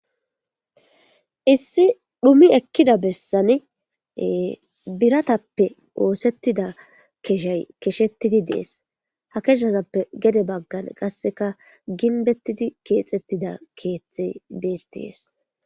Issi dhumi ekkida bessani biratappe oosettida keshay keshettidi dees ha keshasappe gede baggan qasseka ginbettidi keexettida keeththe beetees.